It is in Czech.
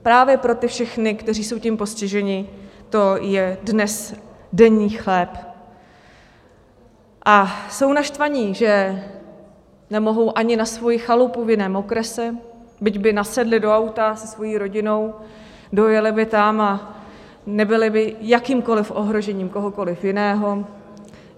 Právě pro ty všechny, kteří jsou tím postiženi, to je dnes denní chléb a jsou naštvaní, že nemohou ani na svoji chalupu v jiném okrese, byť by nasedli do auta se svojí rodinou, dojeli by tam a nebyli by jakýmkoliv ohrožením kohokoliv jiného.